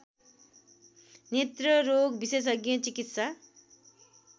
नेत्ररोग विशेषज्ञ चिकित्सा